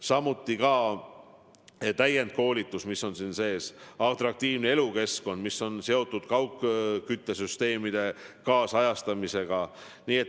Samuti on siin sees täiendkoolitus ja atraktiivse elukeskkonna loomine, mis on seotud kaugküttesüsteemide kaasajastamisega.